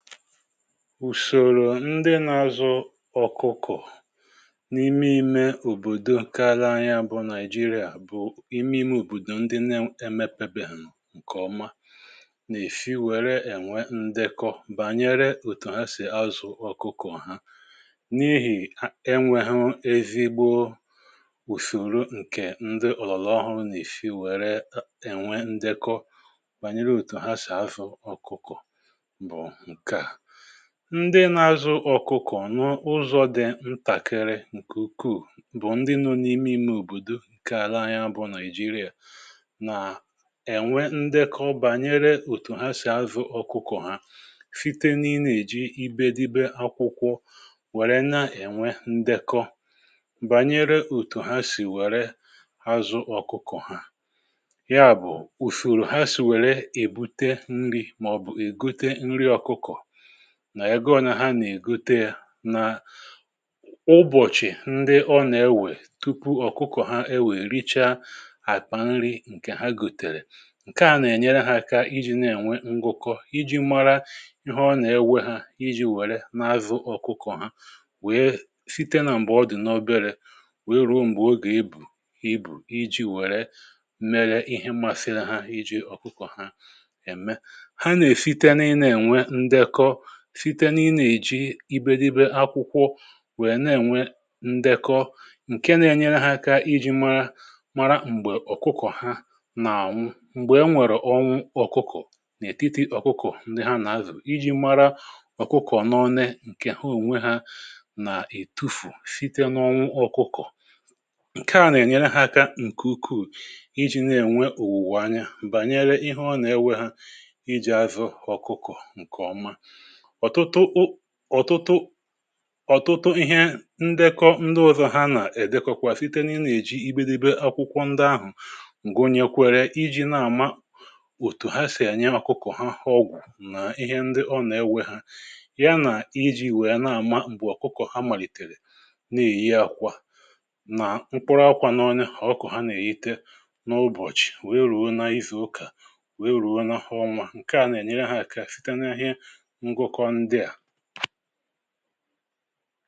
Ùsòrò ndị nȧ-ȧzụ ọkụkọ̀ n’ime ime òbòdo ǹke ala anyi bụ̀ niajịrịa bụ̀ ime ime òbòdò ndị nȧ-emepebèhu ǹkè oma nà-èsi wère ènwe ndekọ bànyere òtù ha sì azụ̀ ọkụkọ̀ ha n’ihì enwė hu ezigbo ùsòro ǹkè ndị ọ̀lọ̀lọ̀ ọhụrụ nà-èsi wère ènwe ndekọ bànyere òtù ha sì azụ ọkụkọ̀bụ nke a, ndị na-azụ ọkụkọ̀ n’ụzọ̇ dị ntàkere ǹkè ukwuù bụ̀ ndị nọ̇ n’ime imè òbòdò ǹkè ala anyi bụ Naịjịrịa nà-ènwe ndekọ bànyere òtù ha sì azụ̇ ọkụkọ̀ ha site na ị na-èji ibe dibė akwụkwọ wère na-ènwe ndekọ bànyere òtù ha sì wère azụ ọkụkọ̀ ha, ya bụ̀ ùsoro ha sì wère èbute nri̇ mà ọ̀ bụ̀ ègote nri ọkụkọ̀ nà ẹgọ̀ na ha nà-ègoteė nà ụbọ̀chị̀ ndị ọ nà-ẹwẹ̀ tupu ọ̀kụkọ̀ ha ẹwẹ̀ rịchaa àkpà nri̇ ǹkẹ̀ ha gòtèrè, ǹkẹ̀ a nà ẹ̀nyẹrẹ ha aka iji̇ na-ẹnwẹ ngụkọ iji̇ mara ihe ọ nà-ẹwẹ ha iji̇ wẹ̀rẹ n’azụ̇ ọ̀kụkọ̀ ha wèe site nà m̀bà ọ dị̀ n’ọbẹrẹ̇ wèe ruo m̀gbè ogè ebu ibù iji̇ wẹ̀rẹ mẹrẹ ihe mmasịrị ha iji̇ ọ̀kụkọ̀ ha ẹ̀mẹ, ha na-esite na ị na-ènwe ndekọ site na ị na-eji ibė dibė akwụkwọ wèe na-ènwe ndekọ ǹke na-enyere ha aka iji mara mara m̀gbè ọ̀kụkọ̀ ha nà ànwụ m̀gbè e nwèrè ọnwụ ọ̀kụkọ̀ n’ètitì ọ̀kụkọ̀ ndị ha nà-azù iji mara ọ̀kụkọ̀ n’one ǹke ha onwe ha nà-ètufù site n’ọnwụ ọ̀kụkọ,̀ ǹke a nà-ènyere ha aka ǹkè ukwuù iji na-ènwe òwùwò anya bànyere ihe ọ nà-ewe ha iji àzụ ọ̀kụkọ̀ ǹkè ọma. ọ̀tụtụ o ọtụtụ ọtụtụ ihe ndekọ ndị ọzọ̀ ha nà-èdekọkwa site na ị nà-èji ibe dibe akwụkwọ ndị ahụ̀ ǹgụ nyekwere iji̇ na-àma òtù ha sì enyi akụkọ̀ ha ọgwụ̀ nà ihe ndị ọ nà-ewe ha ya nà iji̇ wèe na-àma mgbe ọ̀kụkọ̀ ha màlìtèrè na-èyi akwà nà mkpụrụ akwa n'ọne ọkụkọ̇ ha nà-èyiite n’ụbọ̀chị̀ wèe rùo na izù ụkà wèe rùo na ọnwa, ǹkè a nà-ènyere ha àka site n'ihe ngụkọ ndị a.